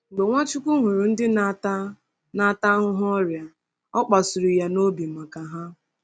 Mgbe Nwachukwu hụrụ ndị na-ata na-ata ahụhụ ọrịa, ọ kpasuru ya n’obi maka ha.